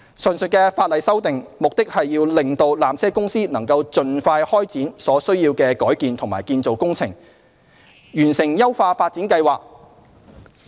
上述法例修訂，目的是令纜車公司能盡快開展所需的改建及建造工程，完成優化發展計劃。